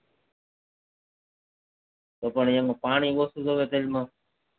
તો એમાં પાણી ઓછુ